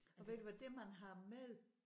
Og ved du hvad det man har med